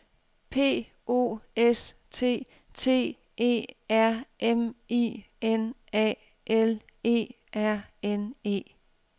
P O S T T E R M I N A L E R N E